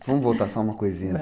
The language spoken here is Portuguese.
Vamos voltar só uma coisinha.